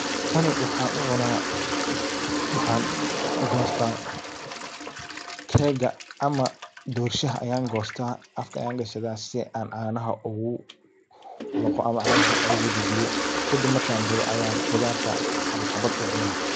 Tani waxaan u cuna waxaan gosta cake ga ama doorshaha ayan goosta afka ayan gashada si aan caanaha ogu laqo ama caanaha ogu dajiyo. Kadib markan bogo ayan qudarta xabad xabad u cuna.